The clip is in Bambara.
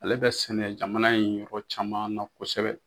Ale bɛ sɛnɛ jamana in yɔrɔ caman na kosɛbɛ.